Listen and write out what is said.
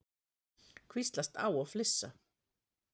Hvíslast á og flissa.